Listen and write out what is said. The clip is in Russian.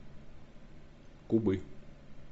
кубы